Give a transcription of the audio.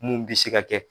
Mun bi se ka kɛ